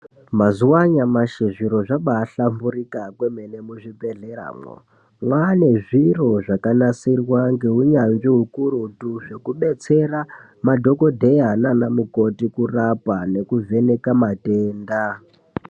Mazuwa anyamashi zviro zvabahlamburuka kwemene muzvibhehleya mo vane zviro zvakanasirwa neunyanzvi ukurutu zvekudetsera madhokodheya nanamukoti kurapa nekuvheneka matenda.